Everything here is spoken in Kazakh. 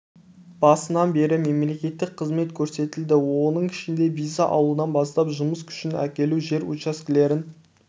басынан бері мемлекеттік қызмет көрсетілді оның ішінде виза алудан бастап жұмыс күшін әкелу жер учаскелерін